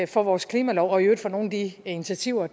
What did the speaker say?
for vores klimalov og i øvrigt for nogle af de initiativer